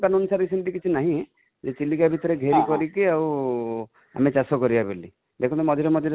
ନିୟମ ସେମିତି କିଛି ନାହିଁ, ଚିଲିକା ଭିତରେ ଘେରି କରି କି ଆଉ ମାନେ ଚାଷ କରିବା ବୋଲି, ଦେଖନ୍ତୁ ମଝିରେ ମଝିରେ